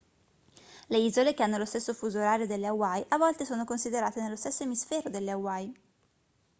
le isole che hanno lo stesso fuso orario delle hawaii a volte sono considerate nello stesso emisfero delle hawaii